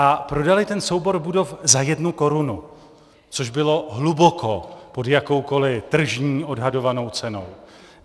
A prodali ten soubor budov za jednu korunu, což bylo hluboko pod jakoukoliv tržní odhadovanou cenou.